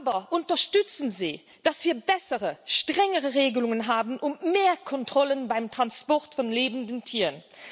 Aber unterstützen Sie, dass wir bessere, strengere Regelungen haben und mehr Kontrollen beim Transport von lebenden Tieren!